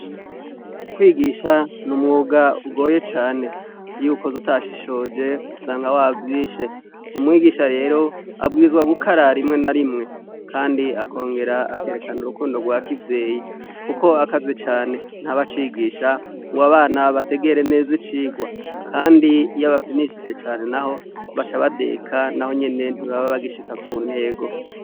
Kwigisha n'umwug' ugoye cane, iy'uwukoz' utashishoj' usanga wavyishe. Umwigisha rer' abwirizwa gukara rimwe narimwe kand' akonger' akerekan' urukundo rwa kivyeyi kuk' akaze cane ntaba cigisha ng' abana bategere nez' icigwa kand' iyabafyinishije cane naho baca badeka nahonyene ntibabe bagishika ku ntego.